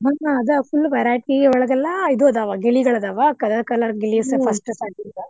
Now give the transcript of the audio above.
ಆದ full verity ಒಳಗೆಲ್ಲ ಇದು ಇದಾವ ಗಿಳಿಗಳ್ ಅದಾವ colour colour ಗಿಳಿಸ .